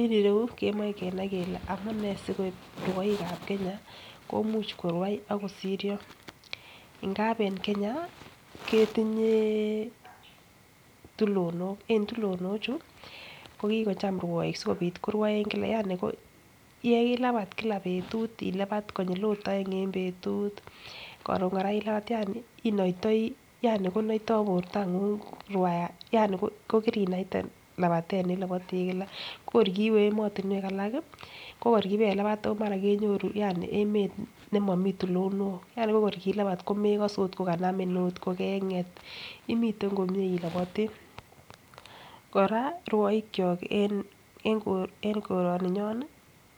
En irou kemoi kenai kele amunee siko rwoikab kenya komuch koruai ak kosiryo ngap en Kenya ketinye tulonok en tulonok chuu ko kikocham rwoik sikopit koruen kila yaani ko yeilabat kila betut ilapan konyil ot oeng en betut, korun Koraa ilaban yani inoitoi yani konoito bortonguny rwaya yani ko kirinaita lapatet ne ilopotii Kila ko kor kiwe emotunwek alak kii, ko kor kipelaban omara kenyoru yani emet nemomii tulonok yani ko kor kipelaban komekose ot kokanamin ot kokenget imitennkomie ilopotii. Koraa rwoik kyok en kor en koroni nyon nii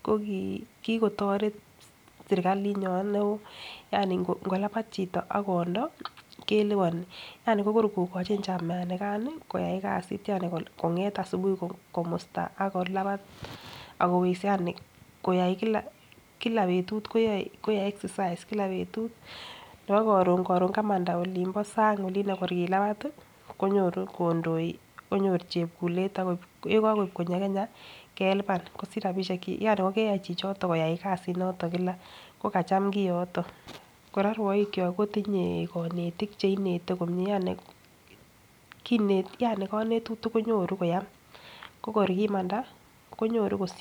ko kii kikotoret serikalit nyon neo yani ngolabat chito akondo keliponi yani kokor kokochin chamanigan nii koyai kasit yani konget asubuhi komusta akolapan ak kowekse yani koyai kila betut koyoe koyoe exercise kila betut nebo korun korun kamanda olibo Sany olino kor kilapat tii konyoru kondoi konyor chekulet akoibe yekokoib konyo Kenya kelipan kosich rabishek chik yani kokeyan chichoton koyai kasit noton kila ko kacham kooton. Koraa rwoik kyok kotinye konetik cheinete komie yani kinet yani konetutik konyoru koyam ko kor kimanda konyoru kosich.